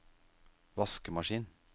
vaskemaskin